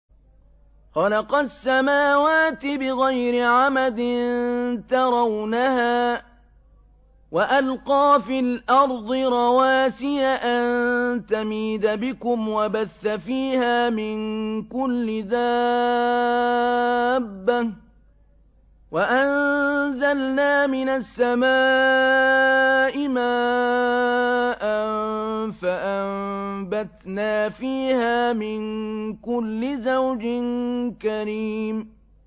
خَلَقَ السَّمَاوَاتِ بِغَيْرِ عَمَدٍ تَرَوْنَهَا ۖ وَأَلْقَىٰ فِي الْأَرْضِ رَوَاسِيَ أَن تَمِيدَ بِكُمْ وَبَثَّ فِيهَا مِن كُلِّ دَابَّةٍ ۚ وَأَنزَلْنَا مِنَ السَّمَاءِ مَاءً فَأَنبَتْنَا فِيهَا مِن كُلِّ زَوْجٍ كَرِيمٍ